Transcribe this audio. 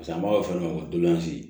pase an b'a fɔ ma ko dolanzi